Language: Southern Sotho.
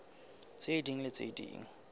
tse ding le tse ding